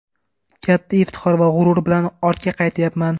Katta iftixor va g‘urur bilan ortga qaytyapman.